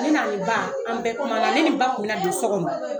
Ne n'a ni ba an bɛɛ kuma na ne ni ba kunmi na don so kɔnɔ